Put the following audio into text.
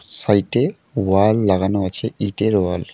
সাইটে ওয়াল লাগানো আছে ইটের ওয়াল ।